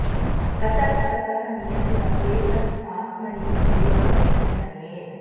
ततः ततः नियम्य एतत् आत्मनि एव वशं नयेत्